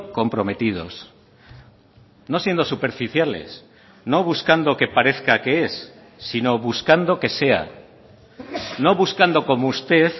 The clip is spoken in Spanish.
comprometidos no siendo superficiales no buscando que parezca que es sino buscando que sea no buscando como usted